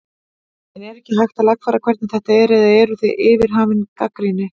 En er ekkert hægt að lagfæra hvernig þetta er eða eruð þið hafin yfir gagnrýni?